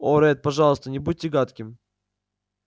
о ретт пожалуйста не будьте гадким